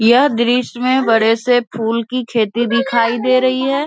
यह दृश्य में बड़े से फूल की खेती दिखाई दे रही है।